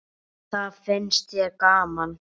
Það fannst þér gaman.